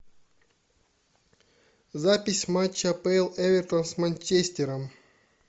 запись матча апл эвертон с манчестером